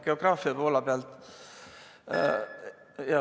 Geograafia poole pealt ...